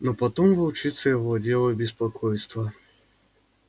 но потом волчицей овладело беспокойство